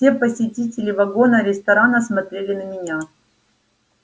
все посетители вагона-ресторана смотрели на меня